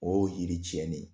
Oo yiri tiɲɛnen ye.